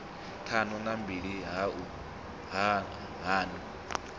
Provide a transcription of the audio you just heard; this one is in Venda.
ṱhanu na mbili hu na